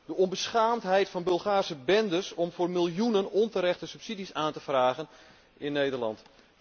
De onbeschaamdheid van Bulgaarse bendes om voor miljoenen onterechte subsidies aan te vragen in Nederland.